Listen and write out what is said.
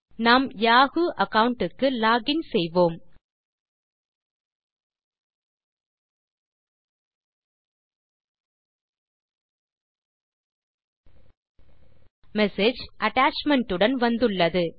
நம் Yahoo account க்கு login செய்வோம் மெசேஜ் attachment உடன் வந்துள்ளது